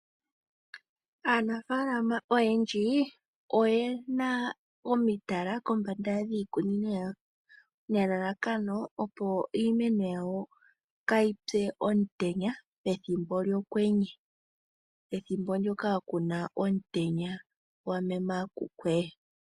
Aanafalama oyendji oyena omitala kombanda dhiikunino yawo nelalakano opo iimeno yawo kayipye omutenya pethimbo lyokwenye pethimbp ndoka kuna omutenya gwamemememe.